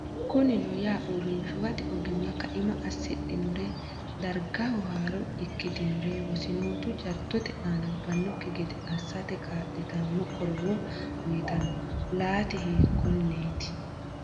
Kunino yaa, uurrinshuwate ogimma kaima assidhinore, dargaho haaro ikkitin ore wosinootu jaddote aana ubbannokki gede assate kaa’litanno qorowo uyitanno, laati hiikkonneeti?